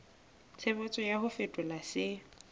tshebetso ya ho fetola se